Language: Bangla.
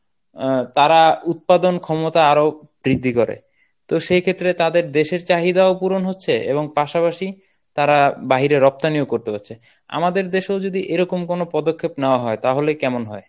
অ্যাঁ তারা উৎপাদন ক্ষমতা আরো বৃদ্ধি করে তো সেই ক্ষেত্রে তাদের দেশের চাহিদাও পূরণ হচ্ছে এবং পাশাপাশি তারা বাহিরে রপ্তানিও করতে পারছে. আমাদের দেশেও যদি এরকম কোন পদক্ষেপ নেওয়া হয় তাহলে কেমন হয়?